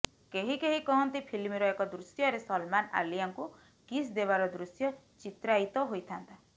କେହି କେହି କହନ୍ତି ଫିଲ୍ମର ଏକ ଦୃଶ୍ୟରେ ସଲମାନ ଆଲିଆଙ୍କୁ କିସ ଦେବାର ଦୃଶ୍ୟ ଚିତ୍ରାୟିତ ହୋଇଥାନ୍ତା